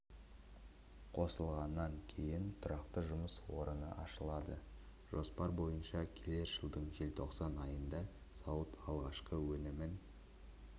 қосылғаннан кейін тұрақты жұмыс орны ашылады жоспар бойынша келер жылдың желтоқсан айында зауыт алғашқы өнімін